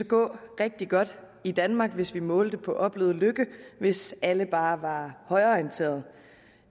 gå rigtig godt i danmark hvis vi målte på opnået lykke hvis alle bare var højreorienterede